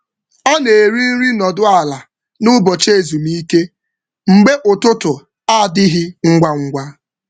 Ọ na-eri nri nọdụ ala n’ụbọchị ezumike mgbe ụtụtụ adịghị ngwa ngwa.